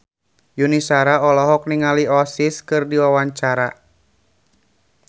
Yuni Shara olohok ningali Oasis keur diwawancara